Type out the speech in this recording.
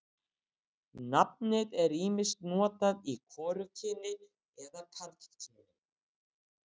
nafnið er ýmist notað í hvorugkyni eða karlkyni